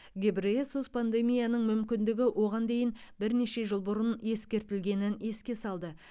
гебрейесус пандемияның мүмкіндігі оған дейін бірнеше жыл бұрын ескертілгенін еске салды